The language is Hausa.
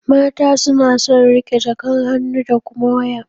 Mata suna son riƙe jakan hannu da kuma waya.